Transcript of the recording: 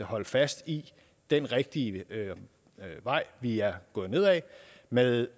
holde fast i den rigtige vej vi er gået ned ad med